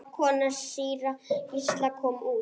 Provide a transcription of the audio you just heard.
Kona síra Gísla kom út.